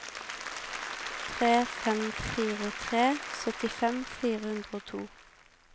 tre fem fire tre syttifem fire hundre og to